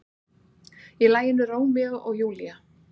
Í laginu Rómeó og Júlía.